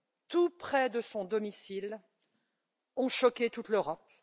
tout près de son domicile, a choqué toute l'Europe.